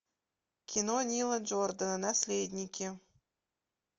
кино нила джордана наследники